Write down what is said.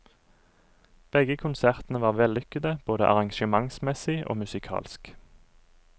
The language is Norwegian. Begge konsertene var vellykkede både arrangementsmessig og musikalsk.